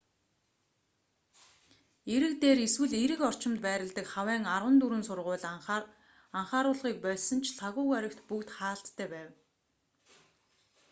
эрэг дээр эсвэл эрэг орчимд байрладаг хавайн арван дөрвөн сургууль анхааруулгыг больсон ч лхагва гарагт бүгд хаалттай байв